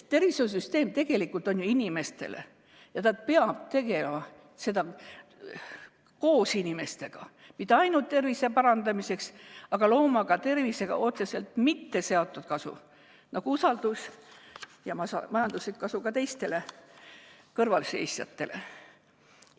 Tervishoiusüsteem on tegelikult ju inimestele ja ta peab tegutsema koos inimestega, kusjuures mitte ainult tervise parandamiseks, vaid ta peab looma ka tervisega otseselt mitteseotud kasu, nagu usaldus ja majanduslik kasu ka kõrvalseisjatele.